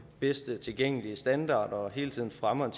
bedst tilgængelige standarder og hele tiden fremmer en